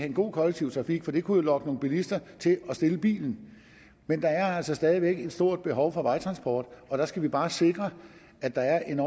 en god kollektiv trafik for det kunne jo lokke nogle bilister til at stille bilen men der er altså stadig væk et stort behov for vejtransport og der skal vi bare sikre at der er en